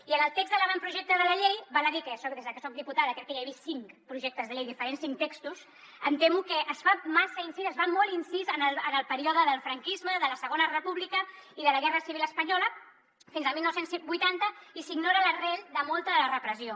i en el text de l’avantprojecte de la llei val a dir que des de que soc diputada crec que ja he vist cinc projectes de llei diferents cinc textos em temo que es fa massa incís es fa molt incís en el període del franquisme de la segona república i de la guerra civil espanyola fins al dinou vuitanta i s’ignora l’arrel de molta de la repressió